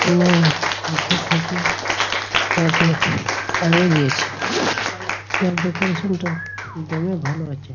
নে আঁখি ত্বকী যাকে টানিয়ে দিয়েছে যার ডেকোরেশন -টা একদম ভালো আছে।